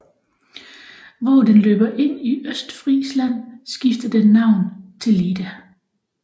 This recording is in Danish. Hvor den løber ind i Østfrisland skifter den navn til Leda